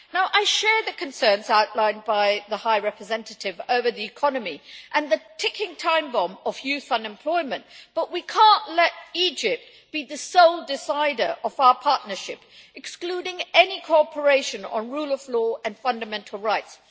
I share the concerns outlined by the High Representative over the economy and the ticking time bomb of youth unemployment, but we cannot let Egypt be the sole decider in our partnership, excluding any cooperation on the rule of law and fundamental rights.